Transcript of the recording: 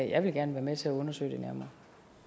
jeg vil gerne være med til at undersøge det nærmere